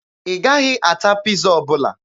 Ị gaghị ata Piiza ọbụla.